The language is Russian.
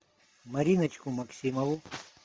мариночку максимову